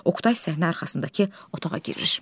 Oqtay səhnə arxasındakı otağa girir.